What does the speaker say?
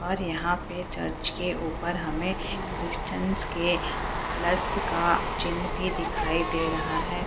और यहाँ पे चर्च के ऊपर हमें क्रिस्चियन के प्लस का चिन्ह भी दिखाई दे रहा है।